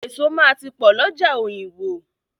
Eso máa ti pọ̀ lọ́jà Òyìngbò.